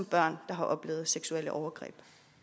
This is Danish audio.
der har oplevet seksuelle overgreb